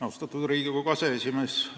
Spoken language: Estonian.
Austatud Riigikogu aseesimees!